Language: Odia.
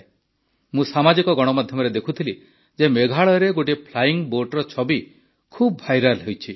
ମୁଁ ସାମାଜିକ ଗଣମାଧ୍ୟମରେ ଦେଖୁଥିଲି ଯେ ମେଘାଳୟରେ ଗୋଟିଏ ଫ୍ଲାଇଙ୍ଗ୍ ବୋଟ୍ର ଛବି ଖୁବ ଭାଇରାଲ୍ ହୋଇଛି